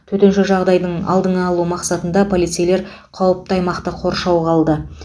төтенше жағдайдың алдын алу мақсатында полицейлер қауіпті аймақты қоршауға алды